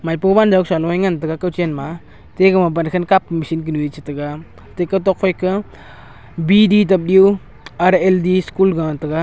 maipo wanjaw kasa noe ngan taiga kawchen ma te gama bankhan kap machine kunu e chetega te kawtok phaika bdwrl school galey tega.